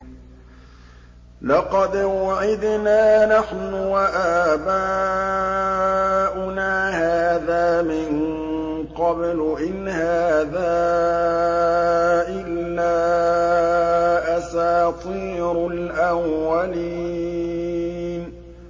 لَقَدْ وُعِدْنَا نَحْنُ وَآبَاؤُنَا هَٰذَا مِن قَبْلُ إِنْ هَٰذَا إِلَّا أَسَاطِيرُ الْأَوَّلِينَ